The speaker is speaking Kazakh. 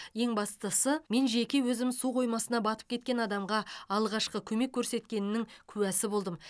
ең бастысы мен жеке өзім су қоймасына батып кеткен адамға алғашқы көмек көрсеткенінің куәсі болдым